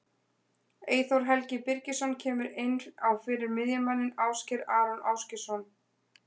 Eyþór Helgi Birgisson kemur inn á fyrir miðjumanninn Ásgeir Aron Ásgeirsson.